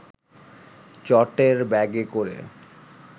চটের ব্যাগে করে